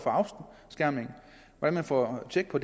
at få tjek på